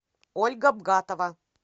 ольга бгатова